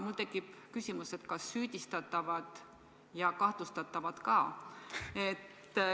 Mul tekkis küsimus, kas süüdistatavad ja kahtlustatavad ka.